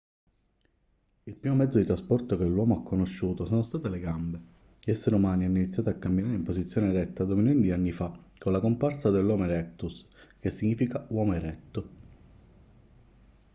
il primo mezzo di trasporto che l'uomo ha conosciuto sono state le gambe. gli esseri umani hanno iniziato a camminare in posizione eretta due milioni di anni fa con la comparsa dell'homo erectus che significa uomo eretto"